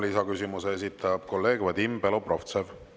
Ja lisaküsimuse esitab kolleeg Vadim Belobrovtsev.